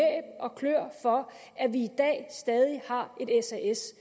og kløer for at vi i dag stadig har et sas